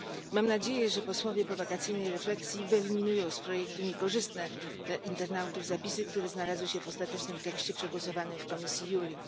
Mam nadzieję, że posłowie po wakacyjnej refleksji wyeliminują z projektu niekorzystne dla internautów zapisy, które znalazły się w ostatecznym tekście przegłosowanym w komisji JURI.